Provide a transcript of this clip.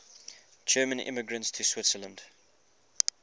german immigrants to switzerland